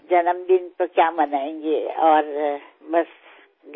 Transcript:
জন্মদিন আৰু কি পাতিম ঘৰতেই আছে সকলোবোৰ